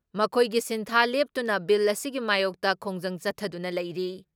ꯃꯈꯣꯏꯒꯤ ꯁꯤꯟꯊꯥ ꯂꯦꯞꯇꯨꯅ ꯕꯤꯜ ꯑꯁꯤꯒꯤ ꯃꯥꯌꯣꯛꯇ ꯈꯣꯡꯖꯪ ꯆꯠꯊꯗꯨꯅ ꯂꯩꯔꯤ ꯫